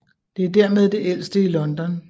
Det er dermed det ældste i London